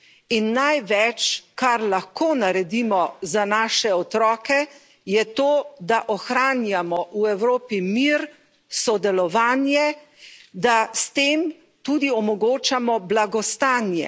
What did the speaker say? In največ, kar lahko naredimo za naše otroke, je to, da ohranjamo v Evropi mir, sodelovanje, da s tem tudi omogočamo blagostanje.